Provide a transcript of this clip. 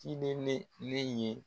Ciden ne ne ye